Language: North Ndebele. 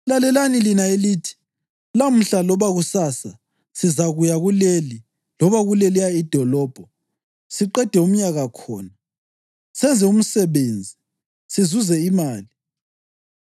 Lalelani lina elithi, “Lamhla loba kusasa sizakuya kuleli loba kuleliyana idolobho, siqede umnyaka khona, senze imisebenzi sizuze imali.”